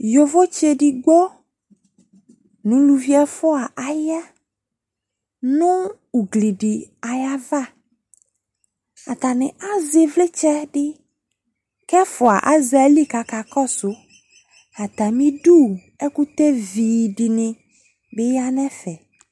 Yovotsɩ edigbo nʋ uluvi ɛfʋa aya nʋ ugli dɩ ayava Atanɩ azɛ ɩvlɩtsɛ dɩ kʋ ɛfʋa azɛ ayili kʋ akakɔsʋ Atamɩdu ɛkʋtɛvi dɩnɩ bɩ ya nʋ ɛfɛ